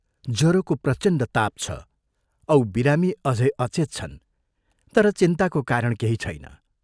जरोको प्रचण्ड ताप छ औ बिरामी अझै अचेत छन् तर चिन्ताको कारण केही छैन।